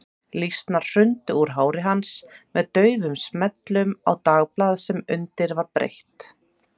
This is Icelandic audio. Lýsnar hrundu úr hári hans með daufum smellum á dagblað sem undir var breitt.